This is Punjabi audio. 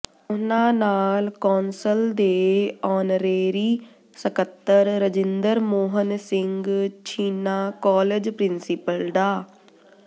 ਉਨ੍ਹਾਂ ਨਾਲ ਕੌਂਸਲ ਦੇ ਆਨਰੇਰੀ ਸਕੱਤਰ ਰਜਿੰਦਰ ਮੋਹਨ ਸਿੰਘ ਛੀਨਾ ਕਾਲਜ ਪ੍ਰਿੰਸੀਪਲ ਡਾ